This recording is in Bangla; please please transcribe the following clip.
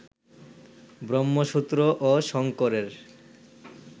ব্রহ্মসূত্র ও শঙ্করের